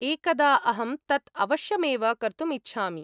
एकदा अहं तत् अवश्यमेव कर्तुमिच्छामि